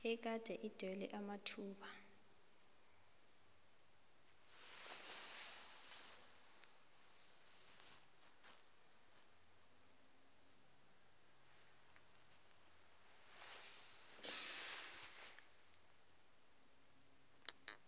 egade idinywe amathuba